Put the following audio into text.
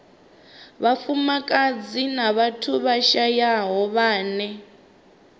vhafumakadzi na vhathu vhashayaho vhane